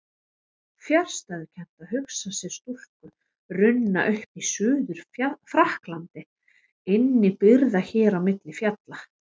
Fjarstæðukennt að hugsa sér stúlku runna upp í Suður-Frakklandi innibyrgða hér á milli fjalla.